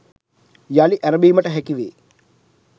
යළි ඇරඹීමට හැකි වේ